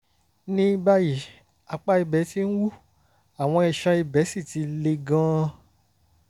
ní báyìí apá ibẹ̀ ti ń wú àwọn iṣan ibẹ̀ sì ti le gan-an